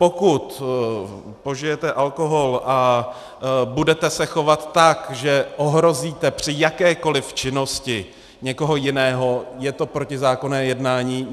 Pokud požijete alkohol a budete se chovat tak, že ohrozíte při jakékoli činnosti někoho jiného, je to protizákonné jednání.